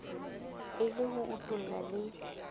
e le ho utulla le